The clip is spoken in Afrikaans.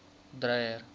dreyer